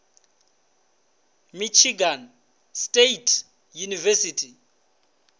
michigan state university